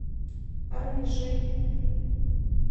рыжий